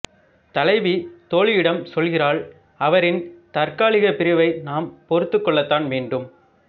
தலைவி தோழியிடம் சொல்கிறாள் அவரின் தற்காலிகப் பிரிவை நாம் பொறுத்துக்கொள்ளத்தான் வேண்டும்